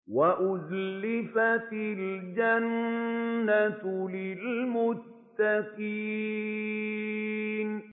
وَأُزْلِفَتِ الْجَنَّةُ لِلْمُتَّقِينَ